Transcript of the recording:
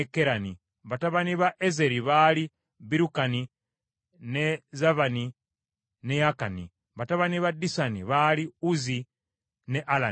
Batabani ba Ezeri baali Birukani, ne Zaavani ne Yaakani; batabani ba Disani baali Uzi ne Alani.